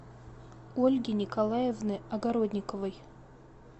ольги николаевны огородниковой